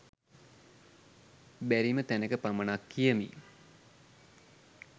බැරිම තැනක පමණක් කියමි